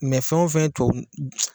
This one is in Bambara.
Mɛ fɛno fɛn ye tubabu nɔgɔ